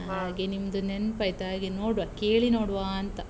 ಹಾಗೆ ನಿಮ್ದು ನೆನ್ಪ್ ಆಯ್ತ್, ಹಾಗೆ ನೋಡ್ವ, ಕೇಳಿ ನೋಡ್ವಾಂತ.